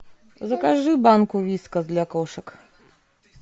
закажи банку вискас для кошек